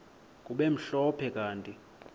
kube mhlophe kanti